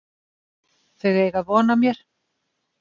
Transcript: Þau eiga von á mér.